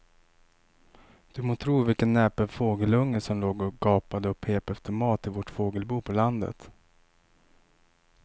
Du må tro vilken näpen fågelunge som låg och gapade och pep efter mat i vårt fågelbo på landet.